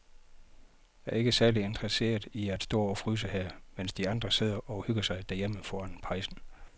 Jeg er ikke særlig interesseret i at stå og fryse her, mens de andre sidder og hygger sig derhjemme foran pejsen.